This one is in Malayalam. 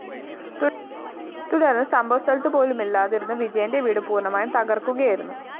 തുടര്‍ന്ന് സംഭവ സ്ഥലത്തുപോലുമില്ലാതിരുന്ന വിജയന്റെ വീട് പൂര്‍ണമായും തകര്‍ക്കുകയായിരുന്നു